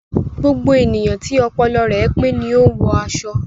Gbogbo ènìyàn tí ọpọlọ rẹ pé ni o n wọ aṣọ